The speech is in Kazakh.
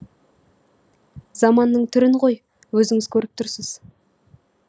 заманның түрін ғой өзіңіз көріп тұрсыз